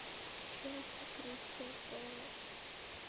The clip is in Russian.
челси кристал пэлас